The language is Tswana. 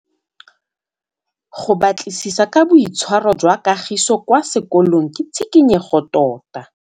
Go batlisisa ka boitshwaro jwa Kagiso kwa sekolong ke tshikinyêgô tota.